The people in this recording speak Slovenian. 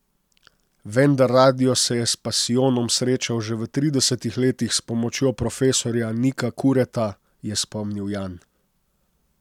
Vendar radio se je s pasijonom srečal že v tridesetih letih s pomočjo profesorja Nika Kureta, je spomnil Jan.